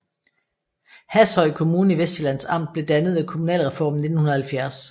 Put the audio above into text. Hashøj Kommune i Vestsjællands Amt blev dannet ved kommunalreformen i 1970